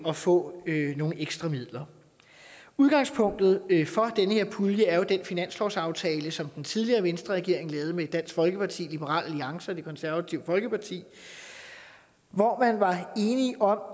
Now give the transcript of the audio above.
at få nogle ekstra midler udgangspunktet for den her pulje er jo den finanslovsaftale som den tidligere venstreregering lavede med dansk folkeparti liberal alliance og det konservative folkeparti hvor man var enige